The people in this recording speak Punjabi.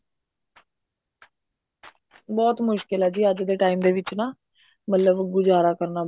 ਬਹੁਤ ਮੁਸ਼ਕਿਲ ਹੈ ਜੀ ਅੱਜ ਦੇ time ਦੇ ਵਿੱਚ ਨਾ ਮਤਲਬ ਗੁਜ਼ਾਰਾ ਕਰਨਾ